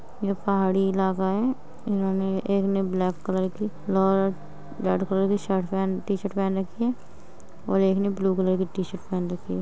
यह पहाड़ी इलाका है इन्होंने एक ने ब्लैक कलर की लौर रेड कलर की शर्ट टी-शर्ट पहन रखी है और एक ने ब्लू कलर टी-शर्ट पहन रखी है।